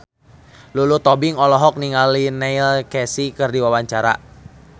Lulu Tobing olohok ningali Neil Casey keur diwawancara